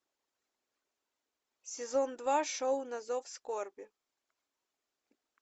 сезон два шоу на зов скорби